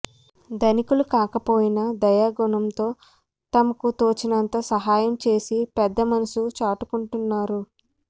ధనికులు కాకపోయినా దయాగుణంతో తమకు తోచినంత సహాయం చేసి పెద్ద మనసు చాటుకుంటున్నారు